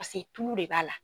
Pase tulu de b'a la.